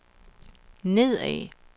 nedad